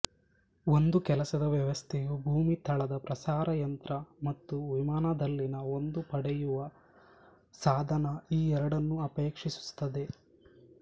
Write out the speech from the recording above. ಒಂದು ಕೆಲಸದ ವ್ಯವಸ್ಥೆಯು ಭೂಮಿ ತಳದ ಪ್ರಸಾರ ಯಂತ್ರ ಮತ್ತು ವಿಮಾನದಲ್ಲಿನ ಒಂದು ಪಡೆಯುವ ಸಾಧನ ಈ ಎರಡನ್ನೂ ಅಪೇಕ್ಷಿಸುತ್ತದೆ